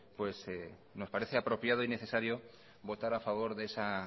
nos parece apropiado y necesario votar a favor de esa